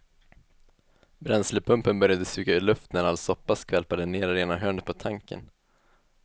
Bränslepumpen började suga luft när all soppa skvalpade ner i det ena hörnet på tanken.